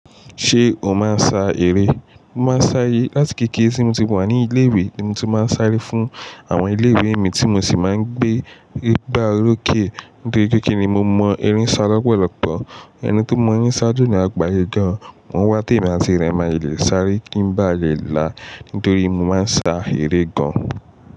Ṣé o máa ń sa eré? Mo máa ń sáré láti kéékèèké tí mo ti wà ní ilé ìwé, ni mo tí máa ń sáré fún àwọn ilé ìwé mi tí mo sì máa ń gbé igbá orókè. Nítorí kéékèèké ni mo mọ eré sá lọ́pọ̀lọ́pọ̀. Ẹni tí ó mọ eré sá jù ní àgbáyé gan, wọn wá ti emi àti rẹ mà í lè sáré kí ń bá a rẹ là. Nítorí mo máa ń sa eré gan.